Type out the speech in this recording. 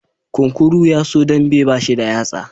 Kunkuru yaso dambe bashi da yatsa